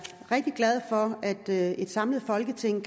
rigtig glad for at et samlet folketing